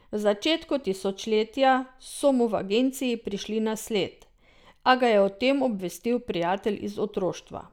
V začetku tisočletja so mu v agenciji prišli na sled, a ga je o tem obvestil prijatelj iz otroštva.